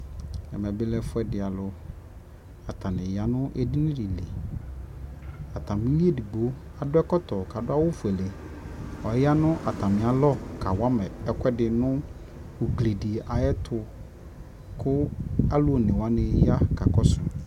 Ɛmɛ bi lɛ ɛfuɛdi alʋ Atani ya nʋ edini di li Atami li edigbo adʋ ɛkɔtɔ kʋ adʋ awʋ fuele Ɔya nʋ atami alʋ kawa ma ɛkuɛdi nʋ ugli di ayɛtʋ kʋ alʋone wani ya kakɔsʋ